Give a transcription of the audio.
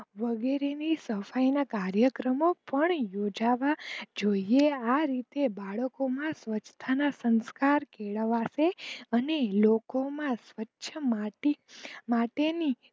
વગેરે ની સફાઈ ના કાર્યક્રમો પણ યોજવો જોઈએ, આ રીતે બાળકો માં સ્વચ્છતાના સંસ્કાર કેળવાશે અને લોકો માં સ્વચ્છ માટે ની